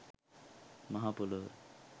මහ පොළව